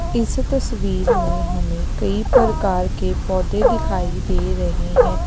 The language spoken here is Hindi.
इस तस्वीर में हमें कई प्रकार के पौधे दिखाई दे रहे हैं।